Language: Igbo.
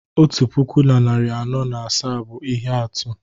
otu puku na narị anọ na asaa bụ ihe atụ